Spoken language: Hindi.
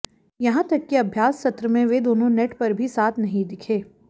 यहां तक कि अभ्यास सत्र में वे दोनों नेट पर भी साथ नहीं दिखे